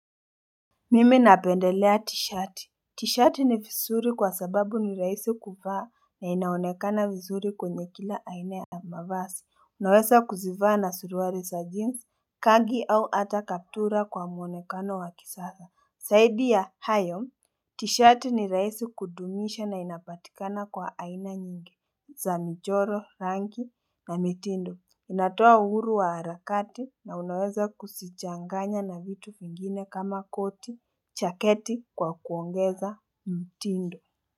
Mimi napendelea tishati, tishati ni vizuri kwa sababu ni rahisi kuvaa na inaonekana vizuri kwenye kila aina ya mavazi, unaweza kuzivaa na suruali za jeans, khaki au hata kaptura kwa muonekano wa kisasa Zaidi ya hayo tishati ni rahisi kudumisha na inapatikana kwa aina nyingi za michoro rangi na mitindo, inatoa uhuru wa harakati na unaweza kuzichanganya na vitu vingine kama koti jaketi kwa kuongeza mtindo.